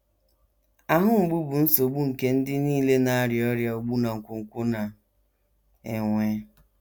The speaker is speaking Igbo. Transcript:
Ahụ mgbu bụ nsogbu nke ndị nile na - arịa ọrịa ogbu na nkwonkwo na - enwe.